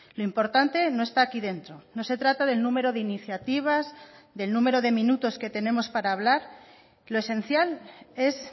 lo importante no está aquí dentro no se trata del número de iniciativas del número de minutos que tenemos para hablar lo esencial es